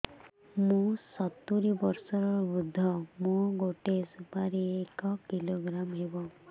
ମୁଁ ସତୂରୀ ବର୍ଷ ବୃଦ୍ଧ ମୋ ଗୋଟେ ସୁପାରି ଏକ କିଲୋଗ୍ରାମ ହେବ